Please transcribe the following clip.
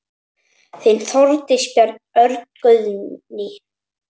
Þín, Þórdís, Björn, Örn, Guðjón.